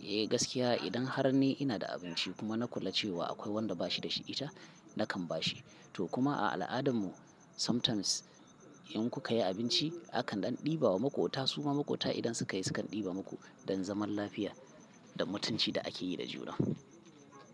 gaskiya idan har ni ina da abinci kuma na kula cewa akwai wanda bashi da shi ita nakan bashi. To kuma a al'adarmu sometimes in ku ka yi abinci akan ɗan ɗibawa makota su ma makota idan suka yi sukan ɗiba muku don zaman lafiya da mutunci da ake yi da juna.